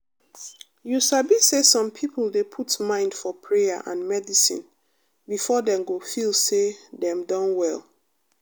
you sabi say some people dey put mind for prayer and medicine before dem go feel say dem don well.